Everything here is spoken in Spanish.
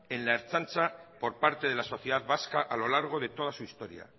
en la ertzaintza por parte de la sociedad vasca a lo largo de toda su historia